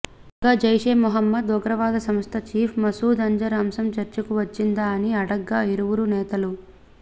కాగా జైషే మహమ్మద్ ఉగ్రవాదసంస్థ చీఫ్ మసూద్ అజర్ అంశం చర్చకు వచ్చిందా అని అడగ్గా ఇరువురు నేతలు